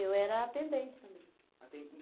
Eu era atendente também.